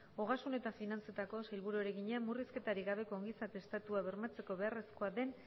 ogasun eta finantzetako sailburuari egina murrizketarik gabeko ongizate estatua bermatzeko beharrezkoa den